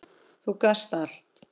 Þú gast allt.